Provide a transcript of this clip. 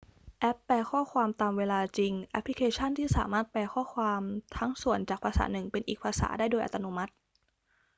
แอปแปลข้อความตามเวลาจริง แอปพลิเคชั่นที่สามารถแปลข้อความทั้งส่วนจากภาษาหนึ่งเป็นอีกภาษาได้โดยอัตโนมัติ